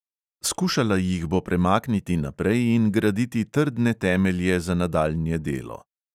Skušala jih bo premakniti naprej in graditi trdne temelje za nadaljnje delo.